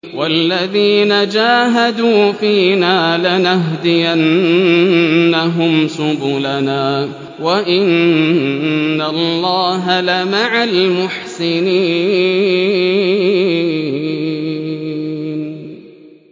وَالَّذِينَ جَاهَدُوا فِينَا لَنَهْدِيَنَّهُمْ سُبُلَنَا ۚ وَإِنَّ اللَّهَ لَمَعَ الْمُحْسِنِينَ